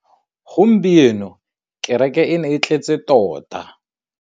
Gompieno kêrêkê e ne e tletse tota.